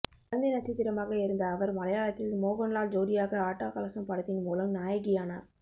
குழந்தை நட்சத்திரமாக இருந்த அவர் மலையாளத்தில் மோகன் லால் ஜோடியாக ஆட்ட கலசம் படத்தின் மூலம் நாயகியானார்